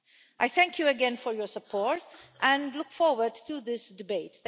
I thank you again for your support and look forward to this debate.